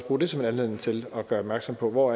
bruge det som en anledning til at gøre opmærksom på hvor